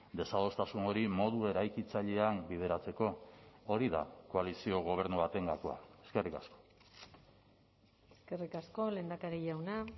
desadostasun hori modu eraikitzailean bideratzeko hori da koalizio gobernu baten gakoa eskerrik asko eskerrik asko lehendakari jauna